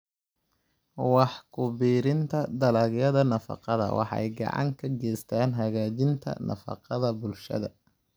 Wax ku biirinta Dalagyada Nafaqada waxay gacan ka geystaan ??hagaajinta nafaqada bulshada.